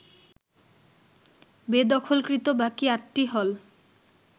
বেদখলকৃত বাকি আটটি হল